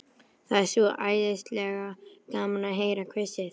Það er svo æðislega gaman að heyra hvissið.